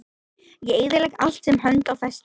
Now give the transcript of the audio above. Ég eyðilegg allt sem hönd á festir.